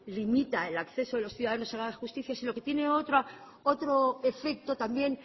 limita el acceso de los ciudadanos a la justicia sino que tiene otro efecto también